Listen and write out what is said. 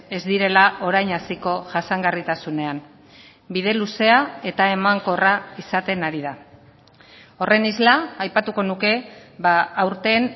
ez direla orain hasiko jasangarritasunean bide luzea eta emankorra izaten ari da horren isla aipatuko nuke aurten